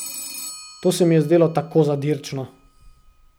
To se mi je zdelo tako zadirčno.